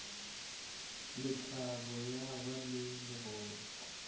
lethabo ya ba le legolo